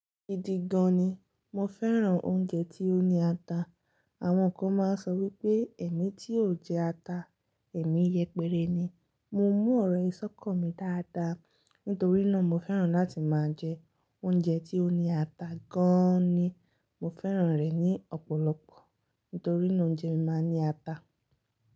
Gidi gan ni, mo fẹ́ràn oúnjẹ tí ó ní ata. Àwọn kan máa ń sọ wípé ẹ̀mí tí ò jẹ ata, èmí yẹpẹrẹ ni. Mo mú ọ̀rọ̀ ìsọ́kán mi dáadáa, nítorí náà mo fẹ́ràn láti máa jẹ oúnjẹ tí ó ní ata gan ni. Mo fẹ́ràn rẹ̀ ní ọ̀pọ̀lọpọ̀ nítorí náà oúnjẹ mi máa ń ní ata.